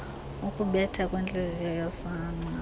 ukubetha kwentliziyo yosana